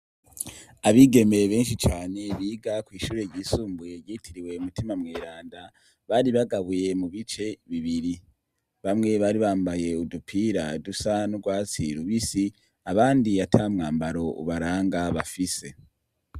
Abigeme benshi cane biga kwishure ryisumbuye ryitirimwe mutima mweranda bari bagabuye mu bice bibiri bamwe bari bambaye udupira dusa n’urwatsi rubisi abandi ata mwambaro ubaranga bafise.